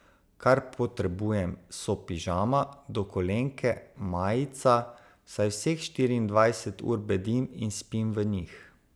Kar potrebujem, so pižama, dokolenke, majica, saj vseh štiriindvajset ur bedim in spim v njih.